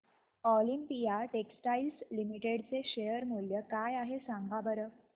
Olympia Textiles Limited चे share मूल्य काय आहे सांगा बरं